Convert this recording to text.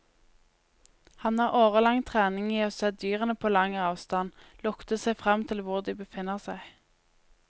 Han har årelang trening i å se dyrene på lang avstand, lukte seg frem til hvor de befinner seg.